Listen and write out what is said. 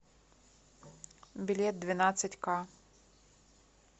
билет двенадцатька